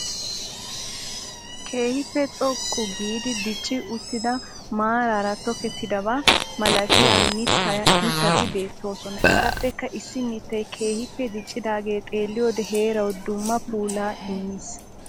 Keehiippe xoqqu giidi dicci uttidaa maarara tokkettidabaa malattiya mittati beettoosona. Etappekka issi mittay keehiippe diccidaagee xeelliyode heeraawu dumma puulaa immiis.